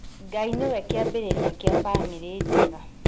Ngai nĩwe kĩambĩrĩria kĩa bamĩrĩ njega